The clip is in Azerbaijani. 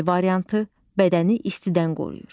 B variantı: Bədəni istidən qoruyur.